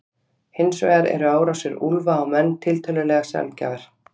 Hins vegar eru árásir úlfa á menn tiltölulega sjaldgæfar.